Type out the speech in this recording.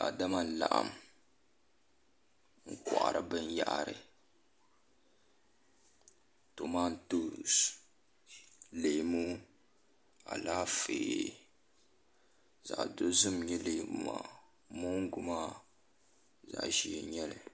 Daadama n laɣam n kohari binyahari tomatoos leemu Alaafee zaɣ dozim n nyɛ leemu maa moongu maa zaɣ ʒiɛ n nyɛli